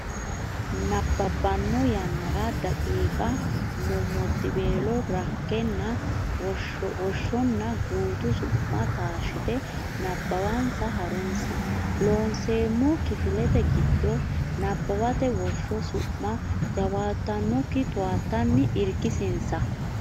nabbabbanno yannara daqiiqa mommoddiweelo rakkenna Woshshonna Gutu Su ma taashshite nabbawansa ha runsi Loonseemmo Kifilete giddo nabbawate Woshsho su ma jawaattannokki towaattanni irkisinsa.